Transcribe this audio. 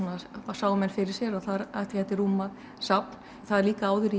sáu menn fyrir sér að það gæti rúmað safn það er líka áður